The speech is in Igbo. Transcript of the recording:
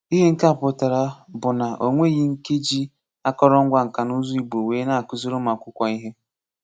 Ihe nke a pụtara bụ na ọ nweghị́ nke jí àkòrò ngwa nka na ùzù́ Ìgbò wee na-ákụ̀zìrì ụmụ́akwụ̀kwọ ihe.